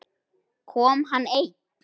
Kom hann einn?